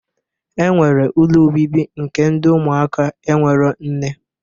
E nwere ụlọ obibi nke ndị ụmụaka enwero nne